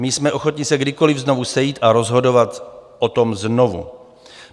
My jsme ochotni se kdykoliv znovu sejít a rozhodovat o tom znovu.